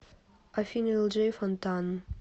афина элджей фонтан